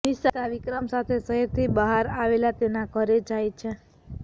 નિશા વિક્રમ સાથે શહેરથી બહાર આવેલ તેના ઘરે જાય છે